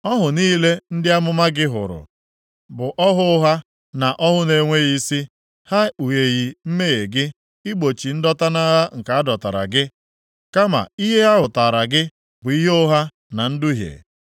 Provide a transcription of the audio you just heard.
Ọhụ niile ndị amụma gị hụrụ bụ ọhụ ụgha na ọhụ na-enweghị isi. Ha ekpugheghị mmehie gị, igbochi ndọta nʼagha nke a dọtara gị. Kama ihe ha hụtaara gị bụ ihe ụgha na nduhie.